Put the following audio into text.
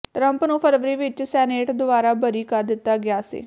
Trump ਨੂੰ ਫਰਵਰੀ ਵਿੱਚ ਸੈਨੇਟ ਦੁਆਰਾ ਬਰੀ ਕਰ ਦਿੱਤਾ ਗਿਆ ਸੀ